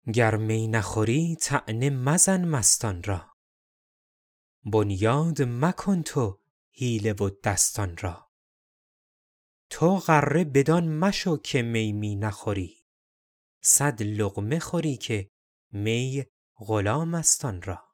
گر می نخوری طعنه مزن مستان را بنیاد مکن تو حیله و دستان را تو غره بدان مشو که می می نخوری صد لقمه خوری که می غلام است آن را